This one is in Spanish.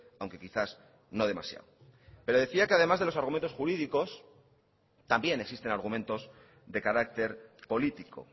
aunque quizás no demasiado pero decía que además de los argumentos jurídicos también existen argumentos de carácter político